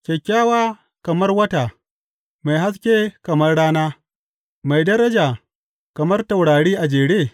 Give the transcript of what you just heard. Kyakkyawa kamar wata, mai haske kamar rana, mai daraja kamar taurari a jere?